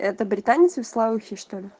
это британец вислоухий что ли